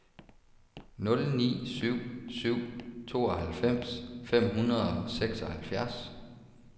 nul ni syv syv tooghalvfems fem hundrede og seksoghalvfjerds